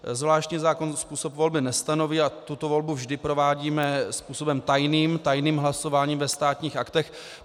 Zvláštní zákon způsob volby nestanoví a tuto volbu vždy provádíme způsobem tajným, tajným hlasováním ve Státních aktech.